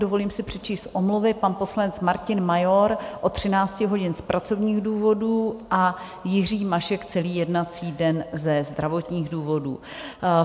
Dovolím si přečíst omluvy: pan poslanec Martin Major od 13 hodin z pracovních důvodů a Jiří Mašek celý jednací den ze zdravotních důvodů.